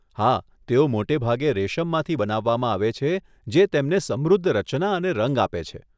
હા, તેઓ મોટે ભાગે રેશમમાંથી બનાવવામાં આવે છે જે તેમને સમૃદ્ધ રચના અને રંગ આપે છે.